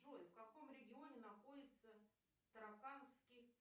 джой в каком регионе находится таракановский